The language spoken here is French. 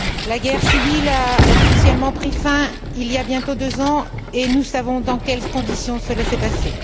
La guerre civile a officiellement pris fin il y a bientôt deux ans et nous savons dans quelles conditions cela s'est passé.